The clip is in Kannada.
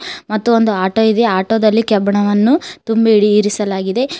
ಮತ್ತು ಒಂದು ಆಟೋ ಇದೆ ಆಟೋ ದಲ್ಲಿ ಕೆಬ್ಬಿಣವನ್ನು ತುಂಬಿ ಇಡಿ ಇರಿಸಲಾಗಿದೆ.